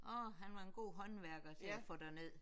Orh han var en god håndværker til at få derned